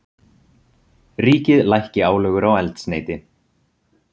Ríkið lækki álögur á eldsneyti